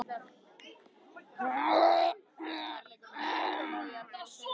Og það hafði einmitt orðið mitt þýðingarmesta hlutverk í lífinu, þar til barnið fæddist.